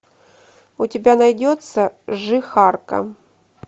у тебя найдется жихарка